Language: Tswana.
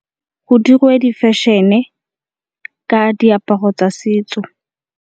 Go dirwe di fashion-e ka diaparo tsa setso.